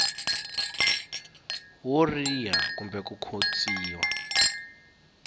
wo riha kumbe ku khotsiwa